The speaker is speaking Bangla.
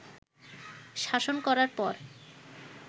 শাসন করার পর